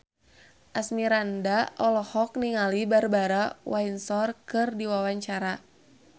Asmirandah olohok ningali Barbara Windsor keur diwawancara